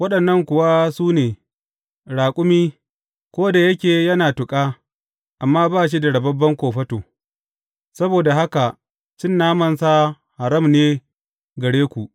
Waɗannan kuwa su ne, raƙumi, ko da yake yana tuƙa, amma ba shi da rababben kofato; saboda haka cin namansa haram ne gare ku.